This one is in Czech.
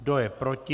Kdo je proti?